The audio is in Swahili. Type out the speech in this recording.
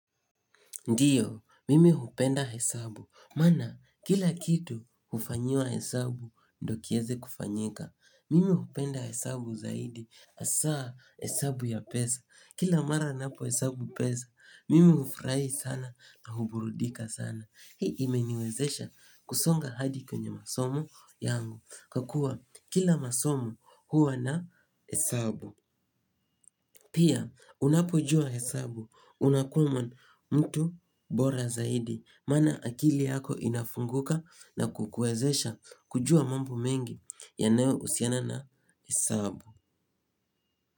Ndiyo, mimi hupenda hesabu. Maana, kila kitu hufanyiwa hesabu, ndio kieze kufanyika. Mimi hupenda hesabu zaidi. Hasa hesabu ya pesa. Kila mara ninapo hesabu pesa, mimi hufurahi sana na huburudika sana. Hii imeniwezesha kusonga hadi kwenye masomo yangu. Kwa kuwa kila masomo huwa na hesabu. Pia, unapojua hesabu, unakuwa mtu bora zaidi, maana akili yako inafunguka na kukuezesha kujua mambo mengi yanayo husiana na hesabu.